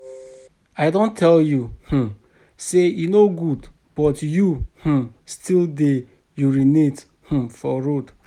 I don tell you um say e no good but you um still dey urinate um for road